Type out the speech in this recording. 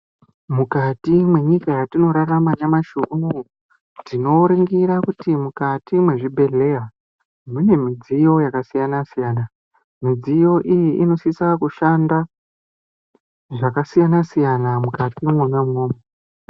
Mukati mwenzika yetinorarama nyamashi unoyu tinoringira kuti mukati mwezvibhedhleya mune midziyo yakasiyana siyana midziyo iyi inosisa kushanda zvakasiyana siyana mukati mwona mwomwo.